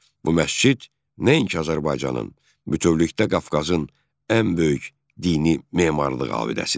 Bu məscid nəinki Azərbaycanın, bütövlükdə Qafqazın ən böyük dini memarlıq abidəsidir.